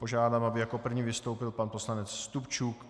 Požádám, aby jako první vystoupil pan poslanec Stupčuk.